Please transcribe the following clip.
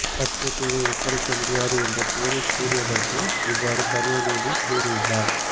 கச்சத்தீவை ஒப்படைக்க முடியாது என்று பெரீஸ் கூறியதற்கு இவ்வாறு கருணாநிதி கூறியுள்ளார்